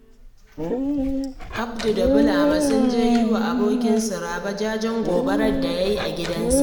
Audu da Bulama sun je yi wa abokinsu Rabe jajen gobarar da ya yi a gidansa